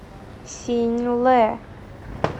синьлэ